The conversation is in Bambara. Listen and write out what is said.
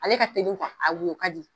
Ale ka teli kuwa a woyo ka di